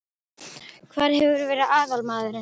Hver hefur verið aðalmaðurinn?